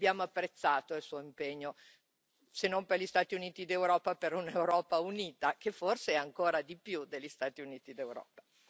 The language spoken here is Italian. Abbiamo apprezzato il Suo impegno, se non per gli Stati Uniti d'Europa per un'Europa unita, che forse è ancora di più degli Stati Uniti d'Europa.